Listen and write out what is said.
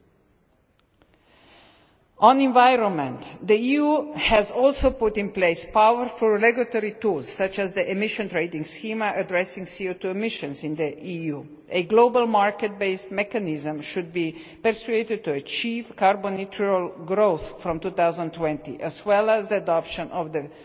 into. The environment the EU has also put in place powerful regulatory tools, such as the emissions trading scheme, addressing CO2 emissions in the EU. A global market-based mechanism should be pursued to achieve carbon neutral growth from 2020, as well as the option